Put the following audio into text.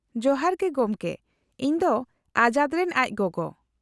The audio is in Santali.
-ᱡᱚᱦᱟᱨᱜᱮ ᱜᱚᱢᱠᱮ, ᱤᱧ ᱫᱚ ᱟᱡᱟᱫ ᱨᱮᱱ ᱟᱡ ᱜᱚᱜᱚ ᱾